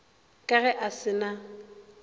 ka ge a se na